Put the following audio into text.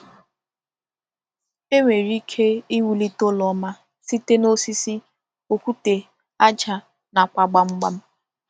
E nwere ike iwulite ụlọ ọma site na osisi, okwute aja, nakwa gbamgbam.